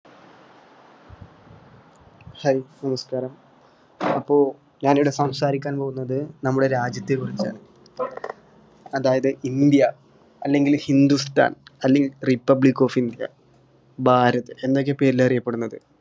hai നമസ്ക്കാരം അപ്പൊ ഞാൻ ഇവിടെ സംസാരിക്കാൻ പോകുന്നത് നമ്മുടെ രാജ്യത്തെ കുറിച്ചാണ് അതായത് ഇന്ത്യ അല്ലെങ്കിൽ ഹിന്ദുസ്ഥാൻ അല്ലെങ്കിൽ republic of india ഭാരത് എന്നൊക്കെ പേരിൽ അറിയപ്പെടുന്നത്